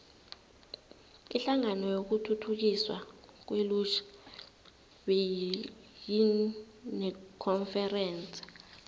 inhlangano yokuthuthukiswa kwelutjha beyinekonferense